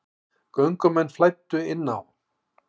Göngumenn flæddu inn á